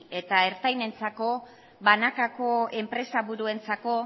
eta ertainentzako banakako enpresa buruentzako